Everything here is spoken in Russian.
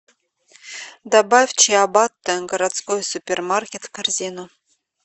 добавь чиабатта городской супермаркет в корзину